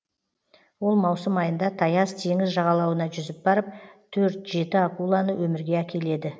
ол маусым айында таяз теңіз жағалауына жүзіп барып төрт жеті акуланы өмірге әкеледі